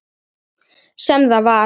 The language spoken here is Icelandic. Sem það var.